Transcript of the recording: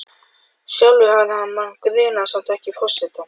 Sjálfur hafði hann mann grunaðan, samt ekki Forsetann.